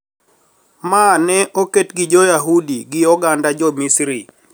Ma ne oket gi Jo Yahudi gi oganda jo Misri